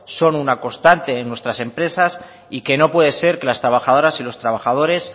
son una constante en nuestras empresas y que no puede ser que las trabajadoras y los trabajadores